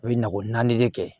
U ye nakɔ naani de kɛ